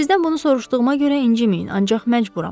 Sizdən bunu soruşduğuma görə inciməyin, ancaq məcburam.